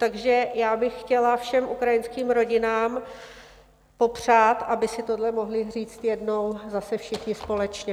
Takže já bych chtěla všem ukrajinským rodinám popřát, aby si tohle mohly říct jednou zase všichni společně.